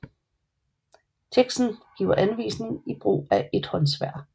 Teksten giver anvisning i brug af ethåndssværd